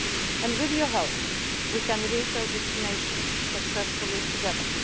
chart a way through. And with your help, we can reach our destination successfully